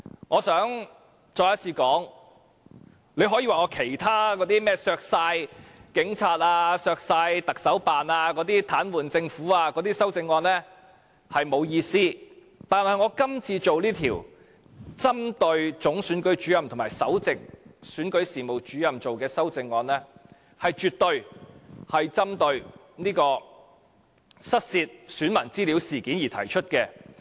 我想再次說，你可以說我其他修正案，例如削減警察、特首辦開支、癱瘓政府的修正案沒有意思，但我這項針對總選舉事務主任和首席選舉事務主任的修正案，是絕對針對失竊選民資料事件而提出的。